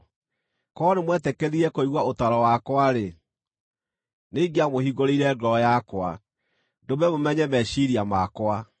Korwo nĩmwetĩkĩrire kũigua ũtaaro wakwa-rĩ, nĩingĩamũhingũrĩire ngoro yakwa, ndũme mũmenye meciiria makwa.